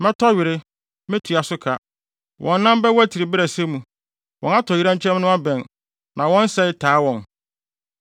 Mɛtɔ were; metua so ka. Wɔn nan bɛwatiri bere a ɛsɛ mu; wɔn atoyerɛnkyɛm no abɛn na wɔn sɛe taa wɔn.”